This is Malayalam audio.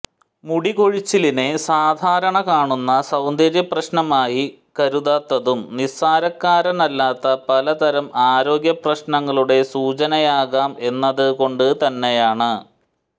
മുടികൊഴിച്ചിലിനെ സാധാരണ കാണുന്ന സൌന്ദര്യ പ്രശ്നമായി കരുതാത്തതും നിസ്സാരക്കാരനല്ലാത്ത പല തരം ആരോഗ്യ പ്രശ്നങ്ങളുടെ സൂചനയാകാം എന്നത് കൊണ്ട് തന്നെയാണ്